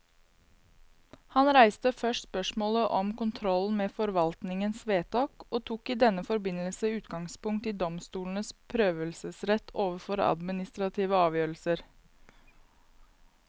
Han reiste først spørsmålet om kontrollen med forvaltningens vedtak, og tok i denne forbindelse utgangspunkt i domstolenes prøvelsesrett overfor administrative avgjørelser.